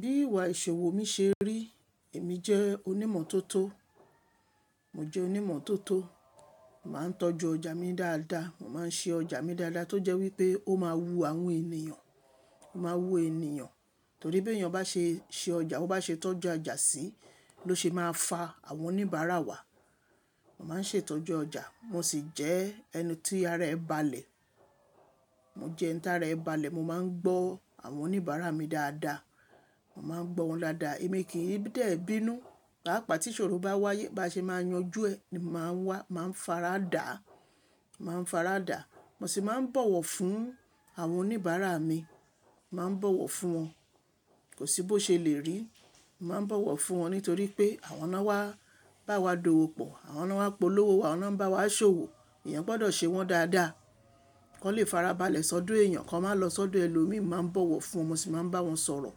Bí ìwà ìṣòwò mi ṣe rí, èmi jẹ́ onímọ̀ tótó. Mo jẹ́ onímọ̀ tótó, màá ń tọ́jú ọjà mi dáadáa, màá ń ṣe ọjà mi dáadáa tó jẹ́ wípé ó máa wu àwọn ènìyàn, ó máa wu ènìyàn, torí bí èèyàn bá ṣe ṣe ọjà, bá ṣe tọ́jú ọjà síi ló ṣe máa fa àwọn oníbàárà wá. Màá ń ṣètọ́jú ọjà, mo sì jẹ́ ẹni tí ara ẹ́ ba lè. Mo jẹ́ ẹni tí ara ẹ́ ba lè, mo máa ń gbọ́ àwọn oníbàárà mi dáadáa, màá ń gbọ́ wọn dáadáa, èmi kì í dẹ̀ bínú. Pàápàá tí ìṣòro bá wáyé, bá ṣe máa yanjú ẹ, màá wá, màá faradà, màá faradà. Mo sì máa ń bọ̀wọ̀ fún àwọn oníbàárà mi, màá ń bọ̀wọ̀ fún wọn. Kò sí bó ṣe lè rí, màá ń bọ̀wọ̀ fún wọn nítorí pé àwọn náà bá wa d'owo pọ̀, àwọn náà polówó, àwọn náà ń bá wa ṣòwò. Ẹ̀yàn gbọdọ̀ ṣe wọ́n dáadáa. Kọ́ le farabalẹ̀ sọ́dọ̀ èèyàn kan, máa lọ sọ́dọ̀ ẹlòmíì, màá ń bọ̀wọ̀ fún wọn. Mo sì máa ń bá wọn sọ̀rọ̀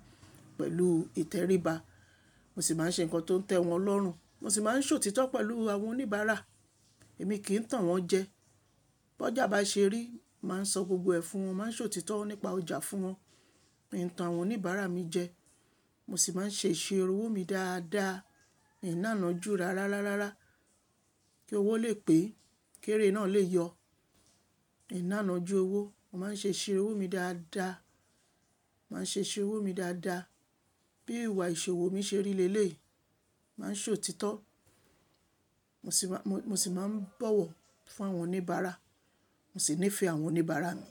pẹ̀lú ìtẹríba, mo sì máa ń ṣe nǹkan tó ń tẹ́ wọn lọ́rùn. Mo sì máa ń ṣòtítọ́ pẹ̀lú àwọn oníbàárà, èmi kì í tàn wọ́n jẹ. Bọ́jà bá ṣe rí, màá ń sọ gbogbo ẹ̀ fún wọn, màá ń ṣòtítọ́ nípa ọjà fún wọn. Mi ò ń tàn àwọn oníbàárà mi jẹ. Mo sì máa ń ṣe iṣẹ́ irú owó mi dáadáa, ìnáànú jù rárá rárá kí owó lè pè, kí èrè náà lè yọ. Ìnáànú ju owó. Mo máa ń ṣe iṣẹ́ irú owó mi dáadáa, màá ń ṣe iṣẹ́ irú owó mi dáadáa. Bí ìwà ìṣòwò mi ṣe rí lélè, màá ń ṣòtítọ́, mo sì máa ń, mo sì máa ń bọ̀wọ̀ fún àwọn oníbàárà, mo sì nífẹ̀ẹ́ àwọn oníbàárà mi.